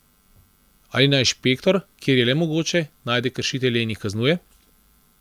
Ali naj inšpektor, kjer je le mogoče, najde kršitelje in jih kaznuje?